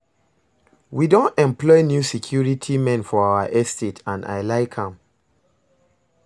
We don employ new security men for our estate and I like am